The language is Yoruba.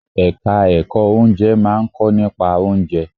Ẹ̀ka ẹ̀kọ́ Oúnjẹ máà ń kọ́ nípa oúnjẹ.